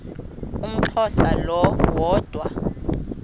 umxhosa lo woda